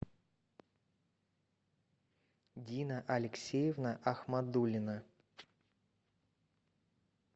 дина алексеевна ахмадулина